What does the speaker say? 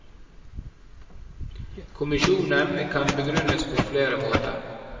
Kommisjonen kan begrunnes på flere måter.